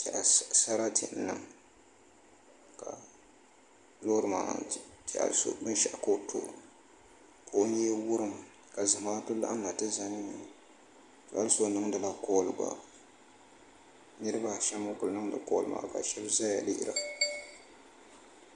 N tehiya sarati n niŋ lɔɔri maa n tehiya bin shaɣu ka ɔtɔ ka ɔ nyee wurim. ka zamaatu laɣim na tiʒan yuu' nɔ. hali so niŋdila call gba niribi m ʒi n guli ŋun niŋdi call maa ka shabi zanzaya